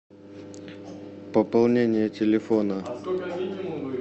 пополнение телефона